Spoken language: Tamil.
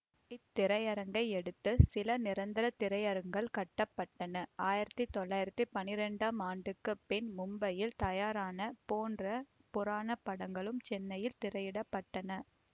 இத்திரையரங்கையடுத்து சில நிரந்தர திரையரங்குகள் கட்ட பட்டன ஆயிரத்தி தொள்ளாயிரத்தி பனிரெண்டாம் ஆண்டிற்கு பின் மும்பையில் தயாரான போன்ற புராண படங்களும் சென்னையில் திரையிடப்பட்டன